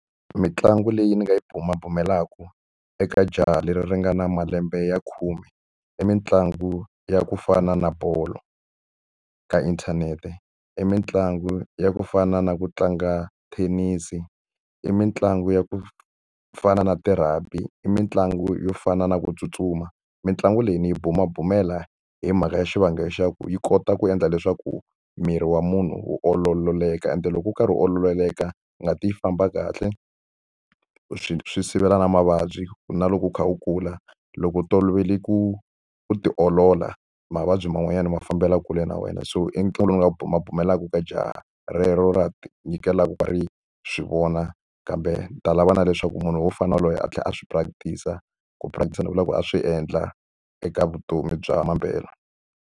Mitlangu leyi ni nga yi bumabumelaka eka jaha leri ri nga na malembe ya khume, i mitlangu ya ku fana na bolo. Ka inthanete i mitlangu ya ku fana na ku tlanga thenisi, i mitlangu ya ku fana na ti-rugby, i mitlangu yo fana na ku tsutsuma. Mitlangu leyi ni yi bumabumela hi mhaka ya xivangelo xa ku yi kota ku endla leswaku miri wa munhu wu ololeka, ende loko wu karhi wu ololeka ngati yi famba kahle. Swi swi sivela na mavabyi ku na loko u kha u kula, loko u tolovele ku u ti olola mavabyi man'wanyana ma fambela kule na wena. So i ntlangu lowu nga ma pfumelaka ka jahha relero ra ti nyikelaka ri swi vona. Kambe ni ta lava na leswaku munhu wo fana na yoloye a tlhela a swi practice-a, ku practice-a ni vulaka ku a swi endla eka vutomi bya mampela.